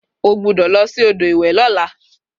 o gbudo losi odo iwe Lola!